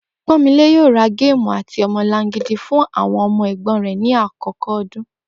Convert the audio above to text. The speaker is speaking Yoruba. Pó̩nmilé yóò ra géèmù àti o̩mo̩langidi fún àwo̩n o̩mo̩ è̩gbó̩n rè̩ ní àkókò o̩dún